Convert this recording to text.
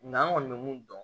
Nga an kɔni bɛ mun dɔn